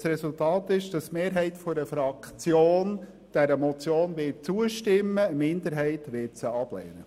Die Mehrheit der Fraktion wird dieser Motion zustimmen, eine Minderheit wird sie ablehnen.